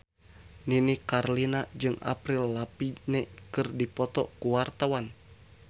Nini Carlina jeung Avril Lavigne keur dipoto ku wartawan